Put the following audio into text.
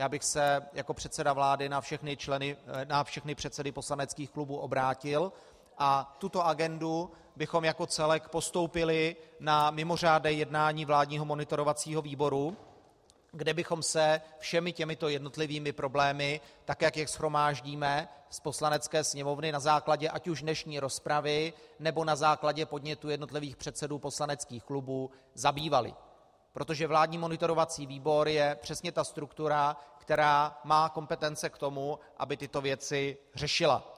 Já bych se jako předseda vlády na všechny předsedy poslaneckých klubů obrátil a tuto agendu bychom jako celek postoupili na mimořádné jednání vládního monitorovacího výboru, kde bychom se všemi těmito jednotlivými problémy, tak jak je shromáždíme z Poslanecké sněmovny na základě ať už dnešní rozpravy, nebo na základě podnětů jednotlivých předsedů poslaneckých klubů, zabývali, protože vládní monitorovací výbor je přesně ta struktura, která má kompetence k tomu, aby tyto věci řešila.